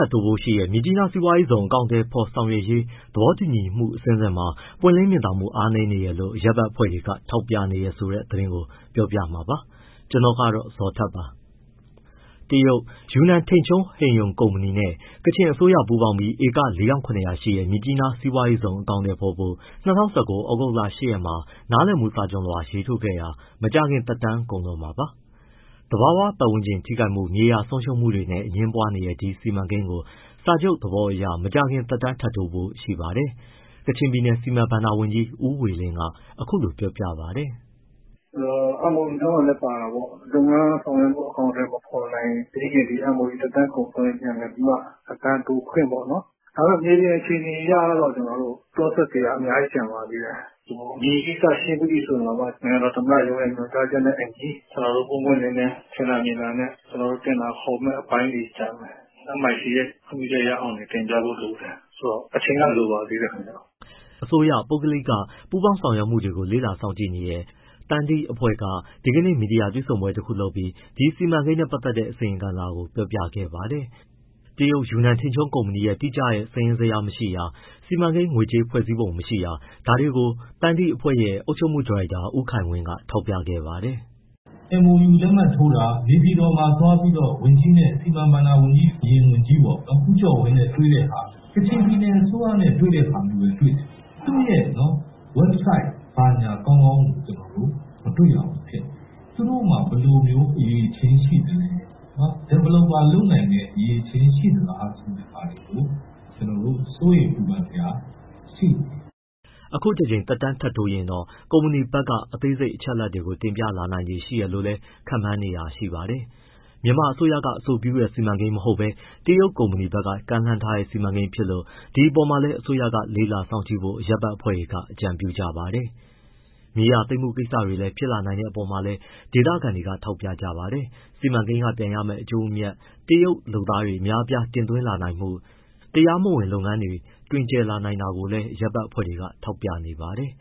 ပ်တိုးဖို့ရှိတဲ့ မြစ်ကြီးနားစီးပွားရေးဇုံ အကောင်အထည်ဖော်ဆောင်ရွက်ရေး သဘောတူညီမှုအဆင့်ဆင့်မှာ ပွင့်လင်းမြင်သာမှု အားနည်းနေတယ်လို့ အရပ်ဘက်အဖွဲ့တွေက ထောက်ပြနေတယ်ဆိုတဲ့ သတင်းကို ကိုဇော်ထက် ပြောပြမှာပါ။ တရုတ် ယူနန်ထိန်ချုံးဟိန်ရုံကုမ္ပဏီ ( Yunnan Tengchong Heng Yong Investment Company) နဲ့ ကချင်အစိုးရ ပူးပေါင်းပြီး ဧက ၄၇၀၀ ရှိတဲ့ မြစ်ကြီးနား စီးပွားရေးဇုံ အကောင်အထည်ဖော်ဖို့ ၂၀၁၉ ဩဂုတ်လ ၈ရက်မှာ နားလည်မှုစာချွန်လွှာ ရေးထိုးခဲ့တာ မကြာခင်သက်တမ်း ကုန်တော့မှာပါ။ သဘာဝပတ်ဝန်းကျင် ထိခိုက်မှု၊ မြေယာဆုံးရှုံးမှုတွေနဲ့ အငြင်းပွားနေတဲ့ ဒီစီမံကိန်းကို စာချုပ်သဘောအရ မကြာခင်သက်တမ်းထပ်တိုးဖို့ရှိပါတယ်။ ကချင်ပြည်နယ် စီမံဘဏ္ဍာ ဝန်ကြီး ဦးဝေလင်းက အခုလိုပြောပါတယ်။ “ MOU ထဲမှာလည်း ပါတယ်ပေါ့၊ လုပ်ငန်းအကောင်အထည်မဖော်နိုင်သေးခင်ထိ MOU သက်တမ်းကုန်ဆုံးရင် သက်တမ်းတိုးခွင့်ပေါ့နော်။ ဒါပေမဲ့ မြေပြင် အခြေအနေအရတော့ process တွေက အများကြီးကျန်ပါသေးတယ်။ မြေကိစ္စရှင်းပြီးရင်တောင်မှ နိုင်ငံတော် သမ္မတရုံးရဲ့ ညွှန်ကြားချက်နဲ့အညီ ကျနော်တို့ ပွင့်ပွင့်လင်းလင်း ထင်သာမြင်သာနဲ့ ကျနော်တို့ တင်ဒါခေါ်မဲ့ အပိုင်းတွေကျန်တယ်။ MIC ရဲ့ ခွင့်ပြုချက်ရအောင်လည်း တင်ပြဖို့လိုတယ်။ ဆိုတော့ အချိန်က လိုပါသေးတယ်ခင်ဗျ။” အစိုးရ- ပုဂ္ဂလိက ပူးပေါင်းဆောင်ရွက်မှုတွေကို လေ့လာစောင့်ကြည့်နေတဲ့ သန္ဓိအဖွဲ့ Sandhi Governance Institute က ဒီကနေ့ မီဒီယာတွေ့ဆုံပွဲ တခုလုပ်ပြီး ဒီစီမံကိန်းနဲ့ပတ်သက်တဲ့ အစီရင်ခံစာကို ပြောပြခဲ့ပါတယ်။ တရုတ်ယူနန်ထိန်ချုံးကုမ္ပဏီရဲ့ တိကျတဲ့ စာရင်းဇယားမရှိတာ၊ စီမံကိန်း ငွေကြေး ဖွဲ့စည်းပုံမရှိတာ ဒါတွေကို သန္ဓိအဖွဲ့ရဲ့ အုပ်ချုပ်မှုဒါရိုက်တာ ဦးခိုင်ဝင်းက ထောက်ပြခဲ့ပါတယ်။ “ MOU လက်မှတ်ထိုးတာ၊ မြေပြင်မှာသွားပြီးတော့ စီမံဘဏ္ဍာဝန်ကြီးနဲ့ အရင်ဝန်ကြီးပေါ့ ဦးကျော်ဝင်းနဲ့ တွေ့တဲ့ဟာ၊ ကချင်ပြည်နယ် အစိုးရနဲ့တွေ့တဲ့ ဟာမျိုးတွေတွေ့ရတယ်။ သူ့ရဲ့ website ဘာညာ ကောင်းကောင်းကို မတွေ့ရဘူးဖြစ်နေတယ်။ သူတို့မှာ ဘယ်လိုမျိုး အရည်အချင်းရှိလဲ၊ developer လုပ်နိုင်တဲ့ အရည်အချင်းရှိသလားဆိုတာ ကျနော်တို့ စိုးရိမ် ပူပန်စရာ ရှိနေတယ်။” အခုတကြိမ် သက်တမ်းထပ်တိုးရင်တော့ ကုမ္ပဏီဘက်က သေးစိတ်အချက်အလက်တွေကို တင်ပြလာနိုင်ခြေရှိတယ်လို့လည်း ခန့်မှန်းနေတာလည်း ရှိပါတယ်။ မြန်မာအစိုးရက အဆိုပြုတဲ့စီမံကိန်းမဟုတ်ဘဲ တရုတ်ကုမ္ပဏီဘက်က ကမ်းလှမ်းထားတဲ့စီမံကိန်းဖြစ်လို့ ဒီအပေါ်မှာလည်း အစိုးရက လေ့လာစောင့်ကြည့်ဖို့ အရပ်ဖက်အဖွဲ့တွေက အကြံပြုကြပါတယ်။ မြေယာသိမ်းမှုကိစ္စတွေလည်း ဖြစ်လာနိုင်တဲ့အပေါ်မှာလည်း ဒေသခံတွေက ထောက်ပြကြပါတယ်။ စီမံကိန်းကပြန်ရမယ့်အကျိုးအမြတ်၊ တရုတ်လုပ်သားအများအပြား တင်သွင်းလာနိုင်မှု၊ တရားမဝင် လုပ်ငန်းတွေ တွင်ကျယ်လာနိုင်တာတွေကိုလည်း အရပ်ဘက်အဖွဲ့တွေက ထောက်ပြနေပါတယ်